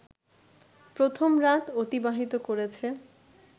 প্রথম রাত অতিবাহিত করেছে